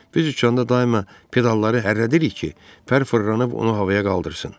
Biz uçanda daima pedalları hərlədirik ki, pər fırlanıb onu havaya qaldırsın.